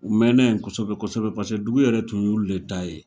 U mɛnna yen kosɛbɛ kosɛbɛ paseke dugu yɛrɛ tun y'u de ta ye.